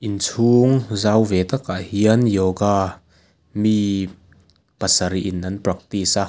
inchhung zau ve takah hian yoga mi pasarih in an practice a.